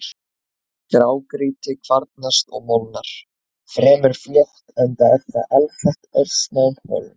Grágrýti kvarnast og molnar fremur fljótt enda er það alsett örsmáum holum.